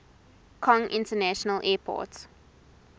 kong international airport